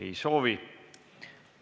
Ei soovi.